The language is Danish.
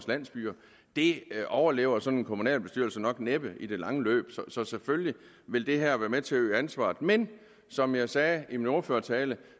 landsbyer det overlever sådan en kommunalbestyrelse næppe i det lange løb så selvfølgelig vil det her være med til at øge ansvaret men som jeg sagde i min ordførertale